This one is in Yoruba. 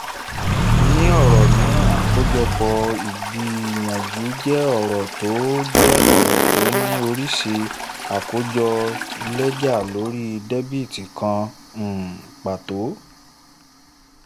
ní ọ̀rọ̀ mìíràn àkójọpọ̀ ìgbìyànjú jẹ́ ọ̀rọ̀ tó jẹ́ ọ̀rọ̀ tó ní oríṣi àkójọ lẹ́jà lórí déètì kan um pàtó.